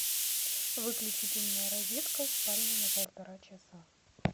выключить умная розетка в спальне на полтора часа